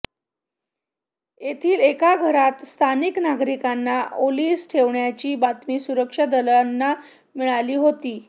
येथील एका घरात स्थानिक नागरिकांना ओलीस ठेवल्याची बातमी सुरक्षा दलांना मिळाली होती